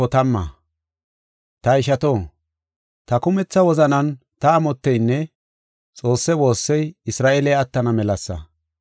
Ta ishato, ta kumetha wozanan ta amotteynne Xoosse woossey Isra7eeley attana melasa.